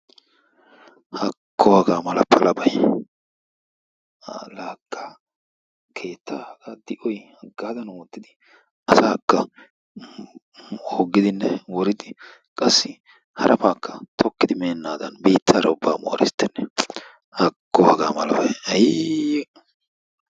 Hakko haga mala palabay! Keettaa haga di'oy hagadan ootidi asakka hoggidinne woriddi qassi harabakka tokkidi meenaadan biittara ubbakka mooristtenne. Haako haga malalbay, haayii!